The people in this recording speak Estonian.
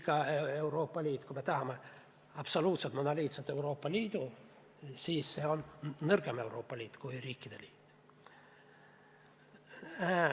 Kui me tahaksime absoluutselt monoliitset Euroopa Liitu, siis see oleks nõrgem Euroopa Liit kui riikide liit.